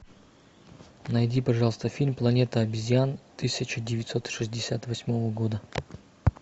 найди пожалуйста фильм планета обезьян тысяча девятьсот шестьдесят восьмого года